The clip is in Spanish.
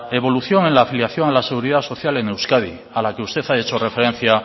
evolución en la afiliación a la seguridad social en euskadi a la que usted ha hecho referencia